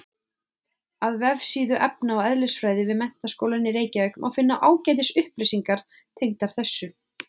Á vefsíðu efna- og eðlisfræði við Menntaskólann í Reykjavík má finna ágætis upplýsingar tengdar þessu.